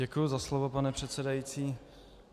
Děkuji za slovo, pane předsedající.